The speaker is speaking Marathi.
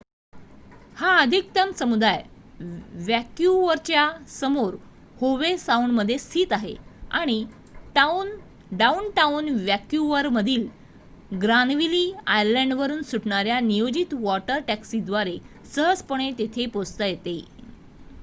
हा अधिकृत समुदाय वँक्युवरच्या समोर होवे साऊंडमध्ये स्थित आहे आणि डाउनटाउन वँक्युवरमधील ग्रानविली आयलँडवरुन सुटणाऱ्या नियोजित वॉटर टॅक्सींद्वारे सहजपणे तिथे पोहोचता येते